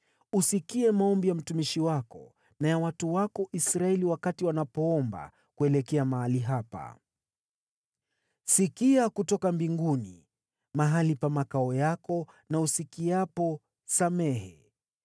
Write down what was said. Usikie maombi ya mtumishi wako na ya watu wako Israeli wakati wanapoomba kuelekea mahali hapa. Sikia kutoka mbinguni, mahali pa makao yako na usikiapo, samehe.